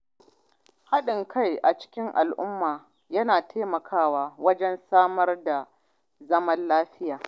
Haɗin kai a cikin al’umma yana taimakawa wajen samar da zaman lafiya.